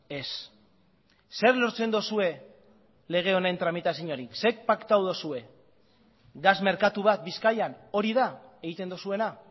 ez zer lortzen duzue lege honen tramitazioarekin zer paktatu duzue gas merkatu bat bizkaian hori da egiten duzuena